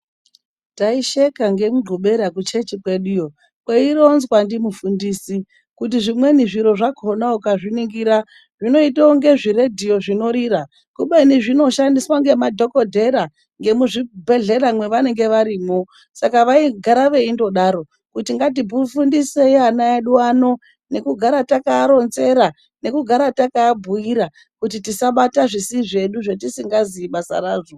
Taisheka ngemunqbubera kuchechi kweduyo, kweironzwa ndimufundisi kuti zvimweni zviro ukazviningira zvinoita kunge zviradhiyo zvinorira kubeni zviro zvinoshandiswa nemadhokodheya ngemuzvibhehlera movanenge varimwo. Saka vaigara vendodaro ngatifundisei vanaveduwo nekugara takavaronzera nekugara takavabhuyira kuti tisabata zvisi zvedu zvatisingazivei basa razvo.